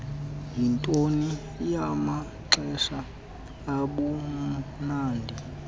yinto yamaxesha obumnandi